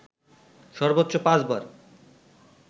সর্বোচ্চ পাঁচবার